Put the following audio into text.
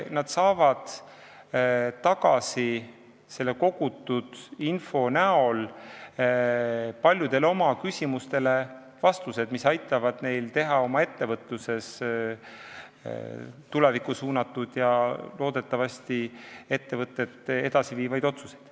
Nad saavad kogutud info abil paljudele oma küsimustele vastused, mis aitavad neil teha ettevõtluses tulevikku suunatud ja loodetavasti ettevõtet edasi viivaid otsuseid.